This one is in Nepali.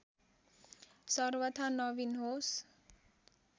सर्वथा नवीन होस्।